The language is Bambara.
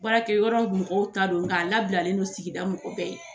Baarakɛyɔrɔ mɔgɔw ta don , nk'a labilalen don sigida mɔgɔ bɛɛ ye.